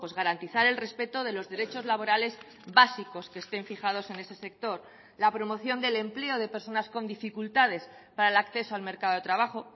garantizar el respeto de los derechos laborales básicos que estén fijados en ese sector la promoción del empleo de personas con dificultades para el acceso al mercado de trabajo